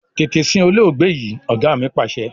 Tètè sin olóògbé yìí! Ọ̀gá mi Pàṣẹ.